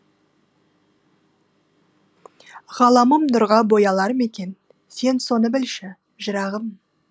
ғаламым нұрға боялар мекен сен соны білші жырағым